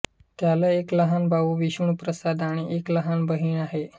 त्याला एक लहान भाऊ विष्णू प्रसाद आणि एक लहान बहीण आहे